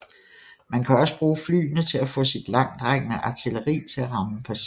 Man kan også bruge flyene til at få sit langtrækkende artilleri til at ramme præcist